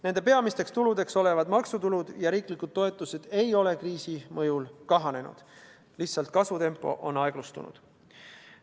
Nende peamisteks tuludeks olevad maksutulud ja riiklikud toetused ei ole kriisi mõjul kahanenud, lihtsalt kasvutempo on aeglustunud.